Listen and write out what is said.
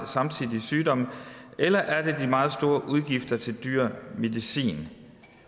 samtidige sygdomme eller er det de meget store udgifter til dyr medicin